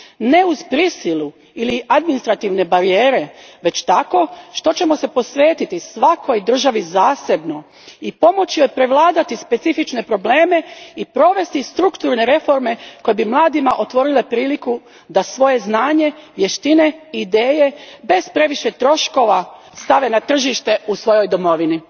Ne uz prisilu ili administrativne barijere, već tako što ćemo se posvetiti svakoj državi zasebno i pomoći joj prevladati specifične probleme i provesti strukturne reforme koje bi mladima otvorile priliku da svoje znanje, vještine i ideje bez previše troškova stave na tržište u svojoj domovini.